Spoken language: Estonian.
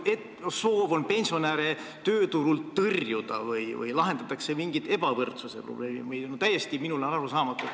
Kas on soov pensionäre tööturult tõrjuda või lahendatakse mingit ebavõrduse probleemi, see on minule täiesti arusaamatu.